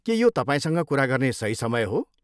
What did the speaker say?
के यो तपाईँसँग कुरा गर्ने सही समय हो?